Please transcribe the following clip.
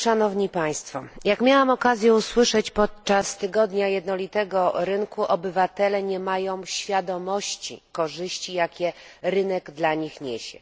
Szanowni Państwo! Jak miałam okazję usłyszeć podczas Tygodnia Jednolitego Rynku, obywatele nie mają świadomości korzyści, jakie rynek dla nich niesie.